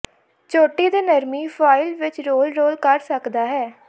ਚੋਟੀ ਦੇ ਨਰਮੀ ਫੁਆਇਲ ਵਿੱਚ ਰੋਲ ਰੋਲ ਕਰ ਸਕਦਾ ਹੈ